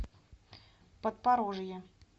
подпорожье